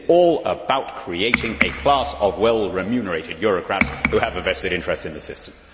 This is all about creating a class of well remunerated Eurocrats who have a vested interest in the system.